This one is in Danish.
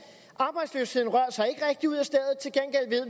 arbejdsløsheden rører sig